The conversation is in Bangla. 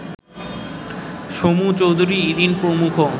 সমু চৌধুরী, ইরিন প্রমুখ